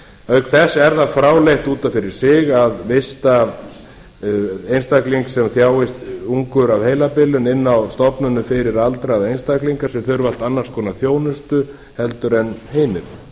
auk þess er það fráleitt út af fyrir sig að vista einstakling sem þjáist ungur af heilabilun inni á stofnunum fyrir aldraða einstaklinga sem þurfa annars konar þjónustu heldur en hinir